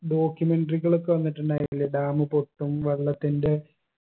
documentary കളൊക്കെ വന്നിട്ടുണ്ടായിട്ടില്ലേ dam പൊട്ടും വെള്ളത്തിന്റെ